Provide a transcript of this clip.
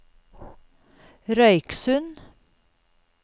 Røyksund